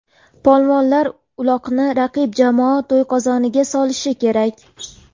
Polvonlar uloqni raqib jamoa to‘yqozoniga solishi kerak.